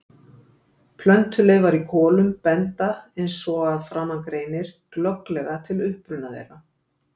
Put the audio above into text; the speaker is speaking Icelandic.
Plöntuleifar í kolum benda, eins og að framan greinir, glögglega til uppruna þeirra.